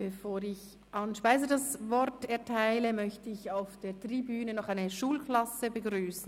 Bevor ich Anne Speiser-Niess das Wort erteile, möchte ich auf der Tribüne eine Schulklasse begrüssen.